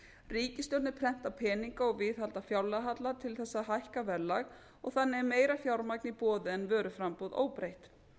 ríkisstjórnir prenta peninga og viðhalda fjárlagahalla til þess að hækka verðlag og þannig er meira fjármagn í boði en vöruframboð óbreytt